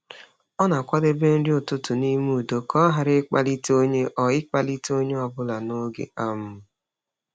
Ọ na-akwadebe nri ụtụtụ n’ime udo ka ọ ghara ịkpalite onye ọ ịkpalite onye ọ bụla n’oge. um